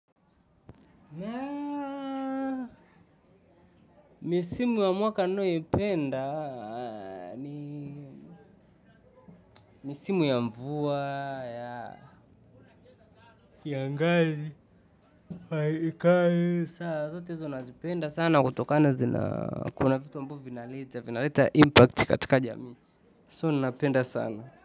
Misimu ya mwaka ninayoipenda ni misimu ya mvua ya kiangazi sasa zote hizo nazipenda sana kutoka na zina kuna kitu ambavyo vinaleta vinaleta impact katika jamii. So ninapenda sana.